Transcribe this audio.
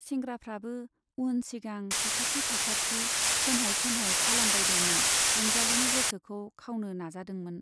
सेंग्राफ्राबो उन सिगां, साखाथि फाखाथि फोनहाय फोनहाय खालामबायदोंमोन, रंजालीनि गोसोखौ खावनो नाजादोंमोन।